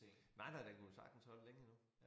Nej nej den kunne jo sagtens holde længe endnu